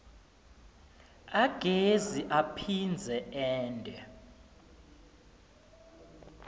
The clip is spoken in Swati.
agezi aphindze ente